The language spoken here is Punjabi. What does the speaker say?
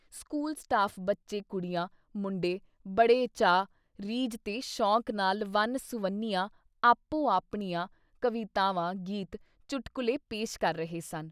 ਸਕੂਲ ਸਟਾਫ਼ ਬੱਚੇ ਕੁੜੀਆਂ-ਮੁੰਡੇ ਬੜੇ ਚਾਅ, ਰੀਝ ਤੇ ਸ਼ੌਕ ਨਾਲ ਵੰਨ ਸੁਵੰਨੀਆਂ ਆਪੋ ਆਪਣੀਆਂ ਕਵਿਤਾਵਾਂ, ਗੀਤ, ਚੁੱਟਕੁਲੇ ਪੇਸ਼ ਕਰ ਰਹੇ ਸਨ।